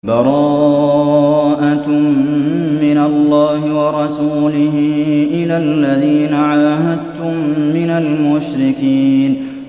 بَرَاءَةٌ مِّنَ اللَّهِ وَرَسُولِهِ إِلَى الَّذِينَ عَاهَدتُّم مِّنَ الْمُشْرِكِينَ